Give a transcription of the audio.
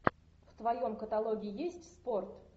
в твоем каталоге есть спорт